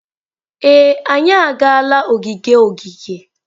Ee, anyị agaala ogige ogige.